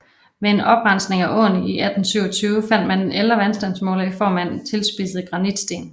Ved en oprensning af åen i 1827 fandt man en ældre vandstandsmåler i form af en tilspidset granitsten